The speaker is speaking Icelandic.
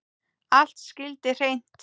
Allt skyldi hreint.